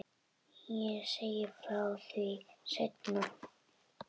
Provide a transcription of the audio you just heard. Ég segi frá því seinna.